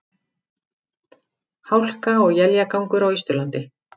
Hálka og éljagangur á Austurlandi